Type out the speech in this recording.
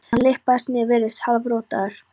og hann lyppast niður, virðist hálfrotaður.